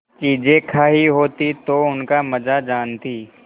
चीजें खायी होती तो उनका मजा जानतीं